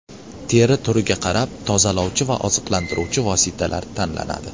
Teri turiga qarab tozalovchi va oziqlantiruvchi vositalar tanlanadi.